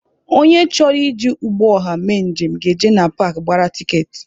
Onye chọrọ iji ụgbọ ọha mee njem ga-eje na paakị gbara tiketi.